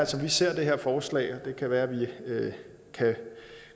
som vi ser det her forslag og det kan være at vi kan